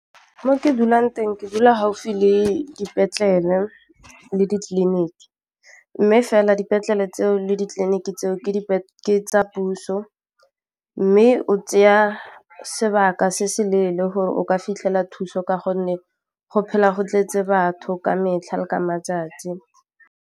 Mo ke dulang teng ke dula gaufi le dipetlele le ditleliniki mme fela dipetlele tseo le ditleliniki tseo ke tsa puso mme o tseya sebaka se se leele gore o ka fitlhela thuso ka gonne go phela go tletse batho ka metlha le ka matsatsi.